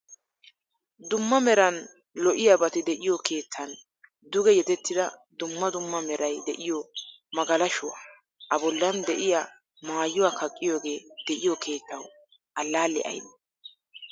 Dumma meran lo'iyabati de'iyo keettan duge yedetida dumma dumma meeray de'iyo magalashuwaa, a bollan de'iyaa maayuwaa kaqiyoge de'iyo keettawu allale aybee?